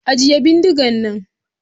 Ajiye bindigan nan!